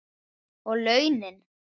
Og launin?